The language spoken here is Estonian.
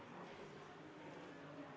Palun valimiskomisjoni liikmetel asuda hääli lugema.